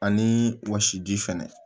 Ani wɔsi ji fɛnɛ